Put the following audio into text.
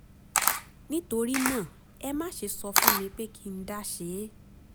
nítorí náà ẹ má ṣe sọ fún mi pé kí n dá ṣe é